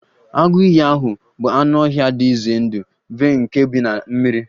Agụ iyi ahụ bụ anụ ọhịa dị ize ndụ vey nke bi na mmiri